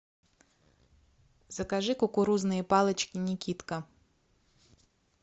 закажи кукурузные палочки никитка